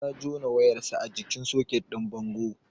Ya jona wayar sa a jikin soket din bango